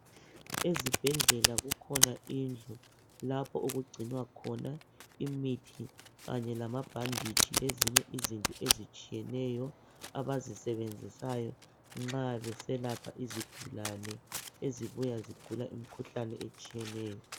ezibhedlela kukhona indlu lapho okugcinwa khona imithi kanye lamabhanditshi lezinye izinto ezitshiyeneyo abazisebenzisayo nxa beselapha izigulane ezibuya zigula imikhuhlane etshineyo